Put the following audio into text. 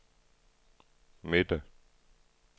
midte